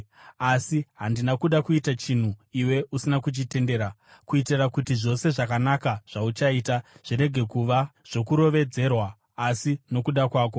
Asi handina kuda kuita chinhu iwe usina kuchitendera, kuitira kuti zvose zvakanaka zvauchaita zvirege kuva zvokurovedzerwa asi nokuda kwako.